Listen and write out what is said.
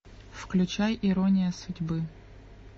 включай ирония судьбы